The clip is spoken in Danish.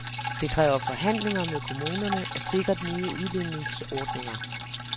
Det kræver forhandlinger med kommunerne og sikkert nye udligningsordninger.